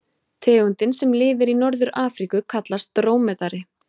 Tegundin sem lifir í Norður-Afríku kallast drómedari.